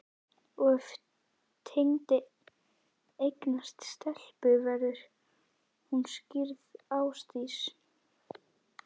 Og ef Tengdi eignast stelpu, verður hún skírð Ásdís